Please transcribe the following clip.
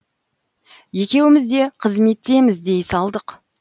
екеуміз де қызметтеміз дей салдық